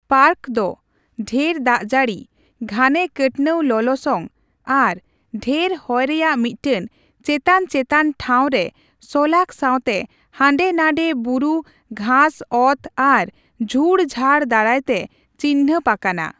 Park ᱫᱚ ᱰᱷᱮᱨ ᱫᱟᱜᱡᱟᱹᱲᱤ, ᱜᱷᱟᱱᱮᱼᱠᱟᱹᱴᱱᱟᱹᱣ ᱞᱚᱞᱚᱥᱚᱝ ᱟᱨ ᱰᱷᱮᱨ ᱦᱚᱭ ᱨᱮᱭᱟᱜ ᱢᱤᱫᱴᱮᱱ ᱪᱮᱛᱟᱱᱼᱪᱮᱛᱟᱱᱴᱷᱟᱣ ᱨᱮ ᱥᱚᱞᱟᱠᱚ ᱥᱟᱣᱛᱮ ᱦᱟᱸᱰᱮ ᱱᱟᱰᱮ ᱵᱩᱨᱩ ᱜᱷᱟᱸᱥᱼᱚᱛ ᱟᱨ ᱡᱷᱩᱲ ᱡᱷᱟᱲ ᱫᱟᱨᱟᱭᱛᱮ ᱪᱤᱱᱦᱟᱹᱯ ᱟᱠᱟᱱᱟ ᱾